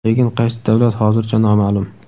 lekin qaysi davlat hozircha noma’lum.